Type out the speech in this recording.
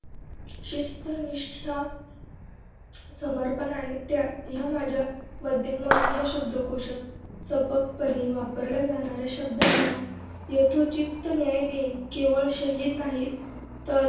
शिस्त, निष्ठा, समर्पण आणि त्याग ह्या माझ्या मध्यमवर्गीय शब्दकोशात सपकपणे वापरल्या जाणाऱ्या शब्दांना यथोचित न्याय देईन केवळ शहिंद नाहीत तर